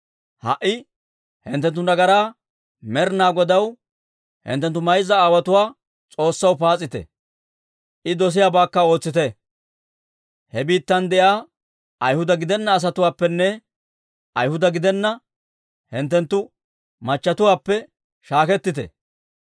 Ha"i hinttenttu nagaraa Med'inaa Godaw, hinttenttu mayza aawotuwaa S'oossaw paas'ite; I dosiyaabaakka ootsite. He biittan de'iyaa Ayhuda gidenna asatuwaappenne Ayhuda gidenna hinttenttu machchetuwaappe shaakettite».